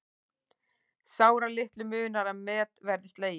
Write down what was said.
Sáralitlu munar að met verði slegið